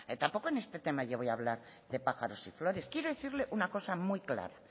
tampoco en este tema yo voy a hablar de pájaros y flores quiero decirle una cosa muy clara